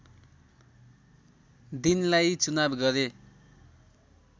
दिनलाई चुनाव गरे